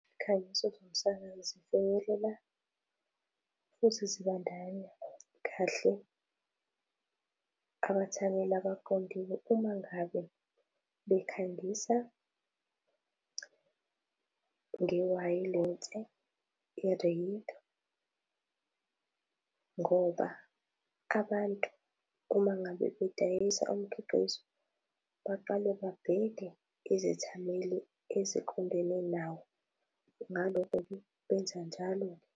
Izikhangiso zomsakazi zifinyelela futhi zibandakanya kahle abathameli abaqondile uma ngabe bekhangisa ngewayilense, i-radio ngoba abantu uma ngabe bedayisa umkhiqizo baqale babheke izethameli eziqondene nawo. Ngalokho-ke, benza njalo-ke